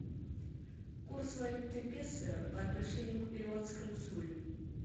курс валюты песо по отношению к перуанскому солю